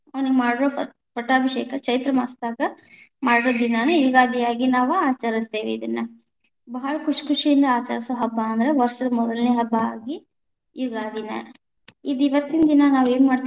ಅವನಿಗ ಮಾಡಿರೋ ಪಟ್ಟಾಭಿಷೇಕ ಚೈತ್ರಮಾಸದಾಗ ಮಾಡು ದಿನಾನೇ ಯುಗಾದಿಯಾಗಿ ನಾವ ಅಚರಿಸ್ತೇವಿ ಇದನ್ನ, ಭಾಳ ಖುಷಿ ಖುಷಿಯಿಂದ ಆಚರಸೋ ಹಬ್ಬಾ ಅಂದ್ರ ವಷ೯ದ ಮೊದಲನೆ ಹಬ್ಬಾ ಆಗಿ ಯುಗಾದಿನ ಇದ ಇವತ್ತಿನ ದಿನಾ ನಾವ್‌ ಏನ್‌ ಮಾಡ್ತೀಪ್ಪಾ.